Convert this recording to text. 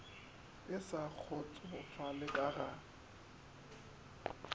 e sa kgotsofala ka ga